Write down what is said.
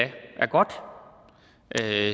er